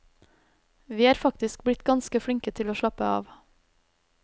Vi er faktisk blitt ganske flinke til å slappe av.